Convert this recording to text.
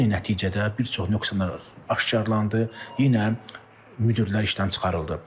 Yenə nəticədə bir çox nöqsanlar aşkarlanadı, yenə müdirlər işdən çıxarıldı.